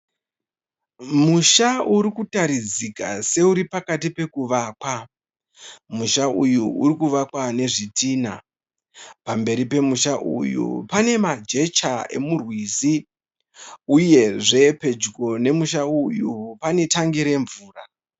Musha urikutaridzika seuri pakati pekuvakwa. Musha uyu uri kuvakwa nezvitinha. Pamberi pemusha uyu pane majecha emurwizi uyezve pedyo nemusha uyu pane tangi remvura.